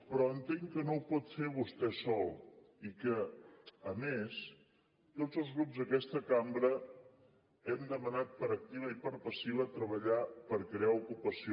però entenc que no ho pot fer vostè sol i que a més tots els grups d’aquesta cambra hem demanat per activa i per passiva treballar per crear ocupació